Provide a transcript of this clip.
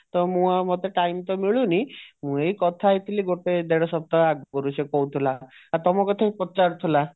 ତ ମୁଁ ଆଉ ମତେ time ତ ମିଲୁନି ମୁଁ ଏଇ କଥା ହେଇଥିଲି ଗୋଟେ ଦେଢ ସପ୍ତାହ ଆଗୁରୁ ସେ କହୁଥିଲା ଆଉ ତମ କଥା ବି ପଚାରୁଥିଲା